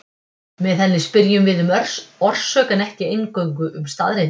Með henni spyrjum við um orsök en ekki eingöngu um staðreyndir.